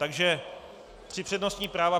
Takže tři přednostní práva.